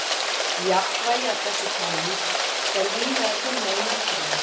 Jafnvægi af þessu tagi er víða að finna í náttúrunni.